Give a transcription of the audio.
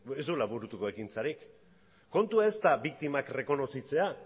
ez duela burutuko ekintzarik kontua ez da biktimak errekonozitzea